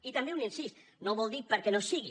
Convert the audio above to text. i també un incís no vol dir perquè no sigui